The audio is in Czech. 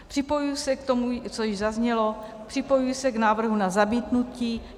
Připojuji se k tomu, co již zaznělo, připojuji se k návrhu na zamítnutí.